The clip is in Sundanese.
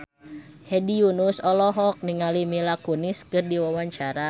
Hedi Yunus olohok ningali Mila Kunis keur diwawancara